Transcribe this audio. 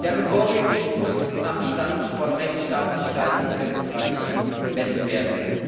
Janukowitsch muss am Stand von Rechtsstaatlichkeit und Demokratie gemessen werden.